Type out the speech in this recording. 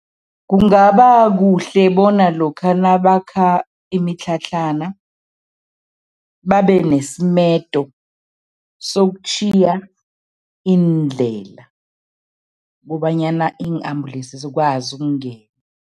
Kungaba kuhle bona lokha nabakha imitlhatlhana, babe nesimedo sokutjhiya iindlela kobanyana iin-ambulensi zikwazi ukungena.